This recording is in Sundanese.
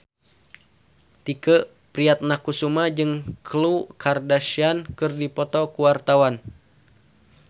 Tike Priatnakusuma jeung Khloe Kardashian keur dipoto ku wartawan